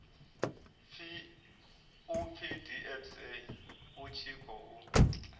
pfi dpsa u tshi khou